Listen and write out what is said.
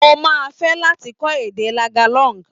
Mo máa fẹ́ láti kọ́ èdè Tagalog.